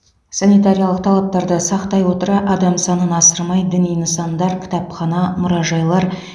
санитариялық талаптарды сақтай отыра адам санын асырмай діни нысандар кітапхана мұражайлар